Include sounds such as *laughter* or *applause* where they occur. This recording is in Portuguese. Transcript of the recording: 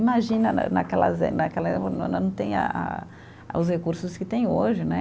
Imagina né naquelas eh, naquela *unintelligible* não tem a a os recursos que têm hoje, né?